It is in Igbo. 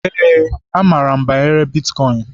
Yes, amaara m banyere bitkọịn.